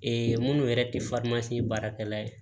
minnu yɛrɛ tɛ baarakɛla ye